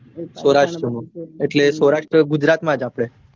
સૌરાષ્ટ્ર માં સૌરાષ્ટ્ર એટલે ગુજરાતમાં જ આપડે